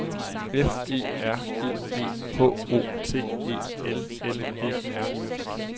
F E R I E H O T E L L E R